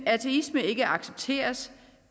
ateisme ikke accepteres